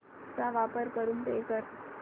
चा वापर करून पे कर